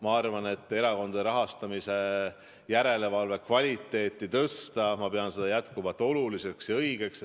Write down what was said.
Ma arvan, et erakondade rahastamise järelevalve kvaliteeti tuleb tõsta, ma pean seda jätkuvalt oluliseks ja õigeks.